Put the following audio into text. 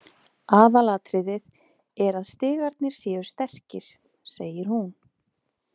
Aðalatriðið er að stigarnir séu sterkir, segir hún.